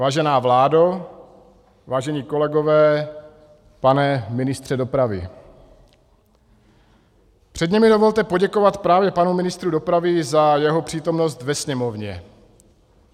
Vážená vládo, vážení kolegové, pane ministře dopravy, předně mi dovolte poděkovat právě panu ministru dopravy za jeho přítomnost ve Sněmovně.